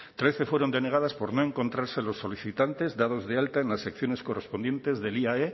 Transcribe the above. trece fueron denegadas por no encontrarse a los solicitantes dados de alta en las secciones correspondientes del iae